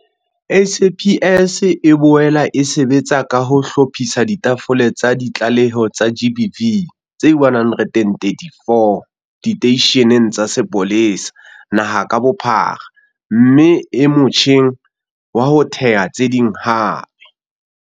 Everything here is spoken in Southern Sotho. SAPS e boela e sebetsa ka ho hlophisa ditafole tsa ditlaleho tsa GBV tse 134 diteisheneng tsa sepolesa naha ka bophara mme e motjheng wa ho theha tse ding hape.